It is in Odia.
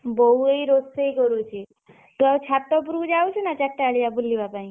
ବୋଉ ଏଇ ରୋଷେଇ କରୁଛି? ତୁ ଆଉ ଚାରି ଟା ବେଲିଆ ଯାଉଛୁ ନା ଛାତ ଉପରକୁ ବୁଲିବା ପାଇଁ?